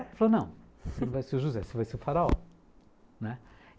Ele falou, não, você não vai ser o José, você vai ser o Faraó, né.